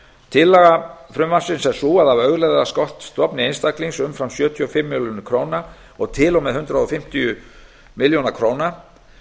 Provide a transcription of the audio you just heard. tillaga frumvarpsins er sú að af auðlegðarskattsstofni einstaklings umfram sjötíu og fimm milljónir króna og til og með hundrað fimmtíu milljónir króna